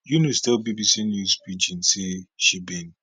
eunice tell bbc news pidgin say she bin